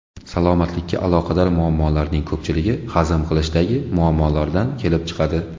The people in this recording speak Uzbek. Salomatlikka aloqador muammolarning ko‘pchiligi hazm qilishdagi muammolardan kelib chiqadi.